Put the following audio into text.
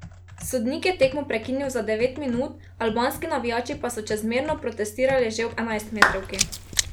Sodnik je tekmo prekinil za devet minut, albanski navijači pa so čezmerno protestirali že ob enajstmetrovki.